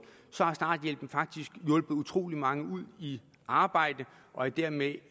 så har starthjælpen faktisk hjulpet utrolig mange i arbejde og dermed